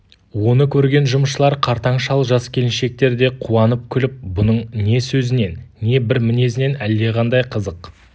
оны көрген жұмысшылар қартаң шал жас келіншектер де қуанып күліп бұның не сөзінен не бір мінезінен әлдеқандай қызық